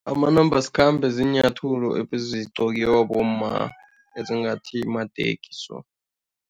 Amanambasikhambe ziinyathulo ebezigqokiwa bomma ezingathi mateki so.